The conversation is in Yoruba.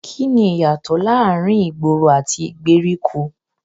Kíni ìyàtò láàárín ìgboro àti ìgbèríko?